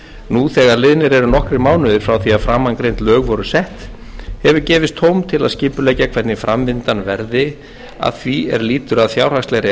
nú þegar liðnir eru nokkrir mánuðir frá því að framangreind lög voru sett hefur gefist tóm til þess að skipuleggja hvernig framvindan verði að því er lýtur að fjárhagslegri